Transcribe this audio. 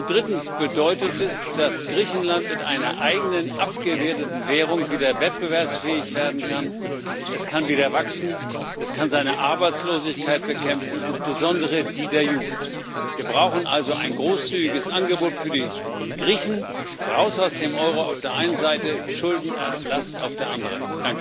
Drittens bedeutet es, dass Griechenland mit einer eigenen abgewerteten Währung wieder wettbewerbsfähig werden kann, es kann wieder wachsen, es kann seine Arbeitslosigkeit bekämpfen, insbesondere die der Jugend. Wir brauchen also ein großzügiges Angebot für die Griechen Raus aus dem Euro auf der einen Seite, Schuldenerlass auf der anderen.